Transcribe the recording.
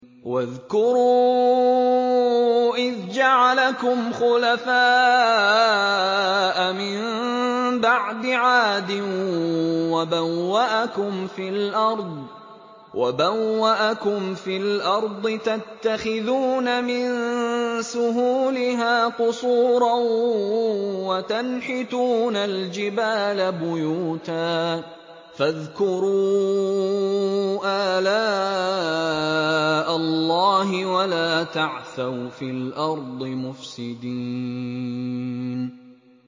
وَاذْكُرُوا إِذْ جَعَلَكُمْ خُلَفَاءَ مِن بَعْدِ عَادٍ وَبَوَّأَكُمْ فِي الْأَرْضِ تَتَّخِذُونَ مِن سُهُولِهَا قُصُورًا وَتَنْحِتُونَ الْجِبَالَ بُيُوتًا ۖ فَاذْكُرُوا آلَاءَ اللَّهِ وَلَا تَعْثَوْا فِي الْأَرْضِ مُفْسِدِينَ